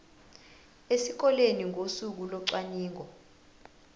esikoleni ngosuku locwaningo